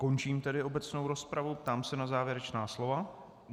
Končím tedy obecnou rozpravu, ptám se na závěrečná slova.